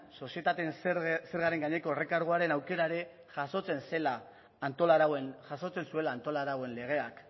sozietateen zergaren gaineko errekarguaren aukera ere jasotzen zuela antolarauen legeak